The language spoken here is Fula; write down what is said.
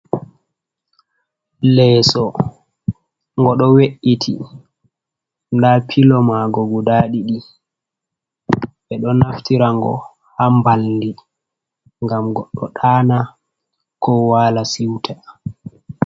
Leeso go ɗo we’iti nda pilo ma go guda ɗiɗi ɓe ɗo naftira ngo ha mbaldii gam goɗɗo ɗana ko wala siuta.